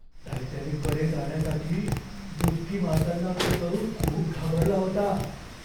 टायटॅनिककडे जाण्यासाठी डुबकी मारताना तो तरुण खूप घाबरला होता.